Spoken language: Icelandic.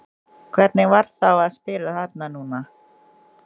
Hvernig var þá að spila þarna núna?